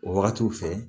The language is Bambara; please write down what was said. O wagatiw fɛ